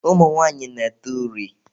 Ụmụ nwanyị na-ete uri.